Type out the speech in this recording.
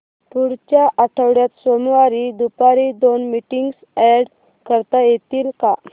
पुढच्या आठवड्यात सोमवारी दुपारी दोन मीटिंग्स अॅड करता येतील का